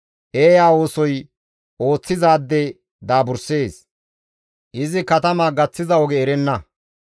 Eeya oosoy ooththizaade daaburssees; izi katama gaththiza oge erenna.